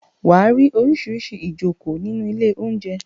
Wà á rí oríṣiríṣi ìjokòó nínú ilé-oúnjẹ.